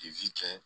cɛ